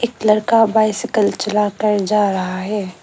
एक लड़का बाइसइकल चला कर जा रहा है।